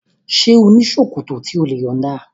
Ṣé ò ní ṣòkòtò tí o lè yọ̀nda?